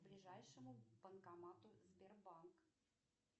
к ближайшему банкомату сбербанк